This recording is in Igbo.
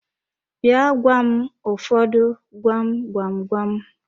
Bịa gwa m ụfọdụ gwam gwam gwam!